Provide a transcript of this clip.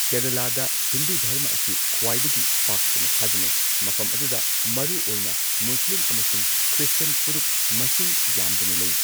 ꯀꯦꯔꯂꯥꯗ ꯍꯤꯟꯗꯨ ꯙꯔꯃ ꯑꯁꯤ ꯈ꯭ꯋꯥꯏꯗꯒꯤ ꯄꯥꯛ ꯁꯟꯅ ꯊꯥꯖꯅꯩ, ꯃꯐꯝ ꯑꯗꯨꯗ ꯃꯔꯨ ꯑꯣꯏꯅ ꯃꯨꯁꯂꯤꯝ ꯑꯃꯁꯨꯡ ꯈ꯭ꯔꯤꯁꯇꯤꯌꯟ ꯐꯨꯔꯨꯞ ꯃꯁꯤꯡ ꯌꯥꯝꯗꯅ ꯂꯩ꯫